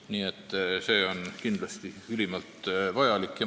Nii et see on kindlasti ülimalt vajalik arutelu.